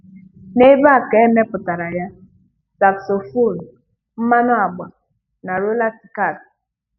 N'ebe a, ka e mepụtara ya, saxophone, mmanụ agba na roller skati.